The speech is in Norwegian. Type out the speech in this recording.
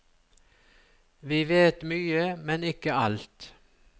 Vi vet mye, men ikke alt.